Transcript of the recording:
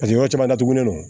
Paseke yɔrɔ caman datugulen don